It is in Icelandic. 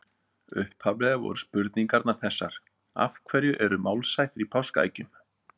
Upphaflega voru spurningarnar þessar: Af hverju eru málshættir í páskaeggjum?